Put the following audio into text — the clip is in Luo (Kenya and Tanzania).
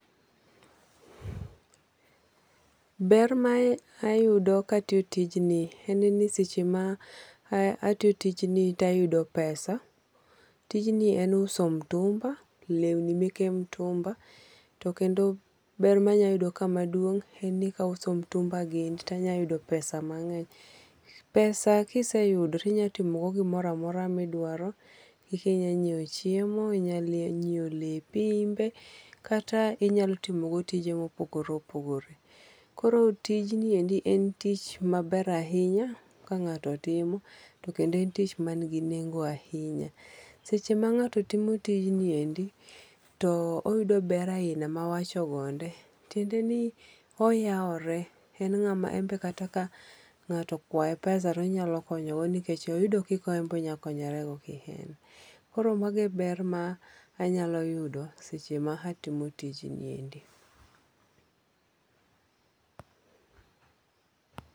Ber ma ayudo ka atiyo tigni en ni seche ma itiyo tijni to ayudo pesa tijni en uso mtumba, lewni meke mtumba, to kendo ber ma anyalo anyayudo kae madung en ni kauso mtumba gi to inalo yudo pesa mange'ny, pesa kiseyudo to inyatimo gimoro amora ma idwaro kika inyalo nyiewo chiemo inyalo nyiewo lepi imbe kata inyalo timogo tije ma opogore opogore koro tijni endi en tich maber ahinya kangato timo to kendo en tich manigi nengo ahinya seche ma ngato timo tijni eki to oyudo ber aina ma wawacho gonde tiende ni oyawore en ngama embe kata ka ngato okwaye pesa to onyalo konyogo nikech oyudo kika embe onyalo konyorego kien, koro magie ber ma anyalo yudo seche ma atimo tijni endi